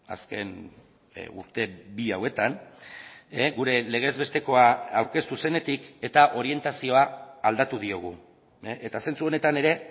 azken urte bi hauetan gure legez bestekoa aurkeztu zenetik eta orientazioa aldatu diogu eta zentzu honetan ere